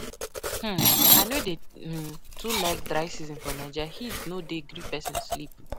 um I no dey um too like dry season for Naija, heat no dey gree pesin sleep.